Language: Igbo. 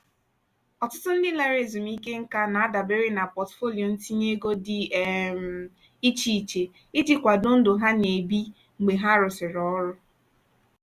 ọtụtụ ndị lara ezumike nka na-adabere na pọtụfoliyo ntinye ego dị um iche iche iji kwado ndụ ha na-ebi mgbe ha rụsịrị ọrụ.